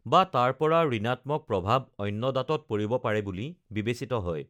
বা তাৰ পৰা ঋনাত্মক প্ৰভাৱ অন্য দাঁতত পৰিব পাৰে বুলি বিবেচিত হয়